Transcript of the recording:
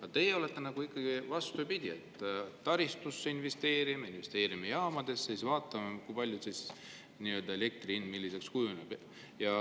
Aga teie, vastupidi, investeerime taristusse, investeerime jaamadesse ja siis vaatame, milliseks elektri hind kujuneb.